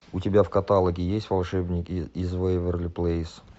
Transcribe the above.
у тебя в каталоге есть волшебники из вэйверли плэйс